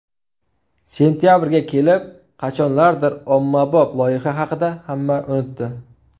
Sentabrga kelib qachonlardir ommabop loyiha haqida hamma unutdi.